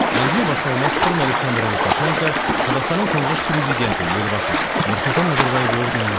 әңгіме басталмас бұрын александр лукашенко қазақстанның тұңғыш президенті елбасы нұрсұлтан назарбаев орденімен